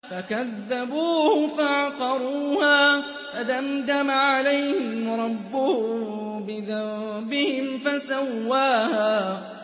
فَكَذَّبُوهُ فَعَقَرُوهَا فَدَمْدَمَ عَلَيْهِمْ رَبُّهُم بِذَنبِهِمْ فَسَوَّاهَا